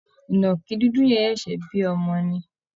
ìnàkì dúdú yẹn ṣẹ̀ṣẹ̀ bí ọmọ ni